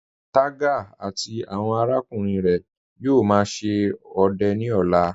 Tẹga àti awọn arákùnrin rẹ yóò má ṣe ọdẹ ni ọ̀là.